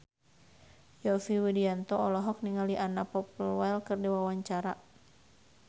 Yovie Widianto olohok ningali Anna Popplewell keur diwawancara